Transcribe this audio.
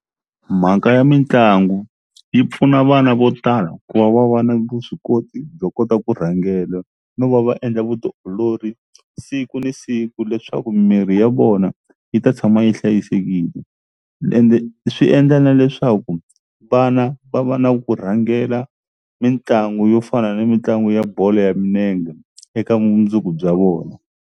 Mhaka ya mitlangu yi pfuna vana vo tala ku va va va na vuswikoti byo kota ku rhangela no va va endla vutiolori siku ni siku leswaku mirhi ya vona yi ta tshama yi hlayisekile ende swi endla na leswaku vana va va na ku rhangela mitlangu yo fana ni mitlangu ya bolo ya minenge eka vumundzuku bya vona.